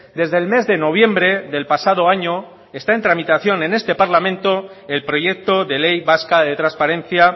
desde el mes de noviembre del pasado año está en tramitación en este parlamento el proyecto de ley vasca de transparencia